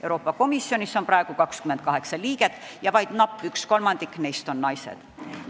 Euroopa Komisjonis on praegu 28 volinikku ja vaid napp üks kolmandik neist on naised.